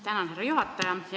Tänan, härra juhataja!